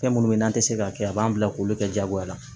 Fɛn minnu bɛ n'an tɛ se k'a kɛ a b'an bila k'olu kɛ jagoya la